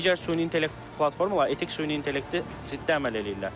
Digər süni intellekt platformaları etik süni intellekti ciddi əməl eləyirlər.